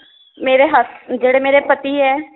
ਮੇਰੇ ਹੱਸ~ ਜਿਹੜੇ ਮੇਰੇ ਪਤੀ ਏ